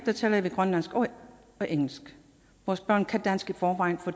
taler vi grønlandsk og engelsk vores børn kan dansk i forvejen for